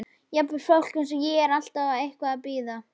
Jafnvel fólk eins og ég er alltaf eitthvað að bíða.